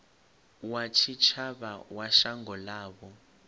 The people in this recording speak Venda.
wa tshitshavha wa shango ḽavho